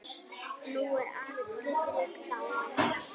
Nú er afi Friðrik dáinn.